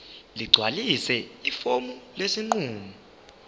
ligcwalise ifomu lesinqumo